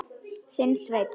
Þinn Sveinn.